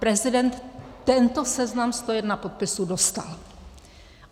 Prezident tento seznam 101 podpisů dostal.